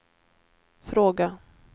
fråga